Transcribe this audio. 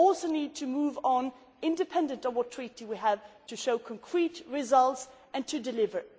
so but we also need to move on independently of what Treaty we have, to show concrete results and to deliver.